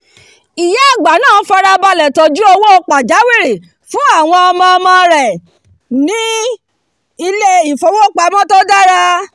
ìyá àgbàlagbà náà farabalẹ̀ tọ́jú owó pajáwìrì fún àwọn ọmọ-ọmọ rẹ̀ ní ilé-ìfowópamọ́ tó dára